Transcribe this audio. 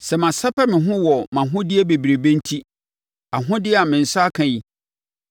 sɛ masɛpɛ me ho wɔ mʼahodeɛ bebrebe enti, ahodeɛ a me nsa aka yi,